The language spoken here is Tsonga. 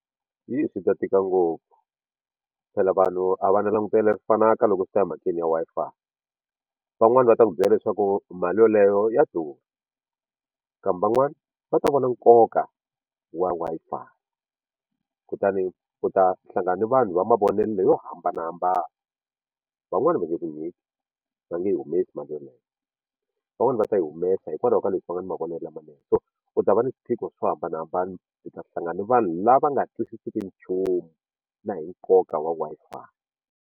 Hi swi ta tika ngopfu phela vanhu a va na langutelo lexi fanaka loko swi ta emhakeni ya Wi-Fi van'wani va ta ku byela leswaku mali yoleyo ya durha kambe van'wani va ta vona nkoka wa Wi-Fi kutani u ta hlangana ni vanhu va mavonelo yo hambanahambana van'wani va nge ku nyiki va nge humesi mali yeleyo van'wani va ta yi humesa hikwalaho ka leswi va nga na mavonelo lamanene so u ta va ni swiphiqo swo hambanahambana u ta hlangana na vanhu lava nga twisiseki nchumu na hi nkoka wa Wi-Fi.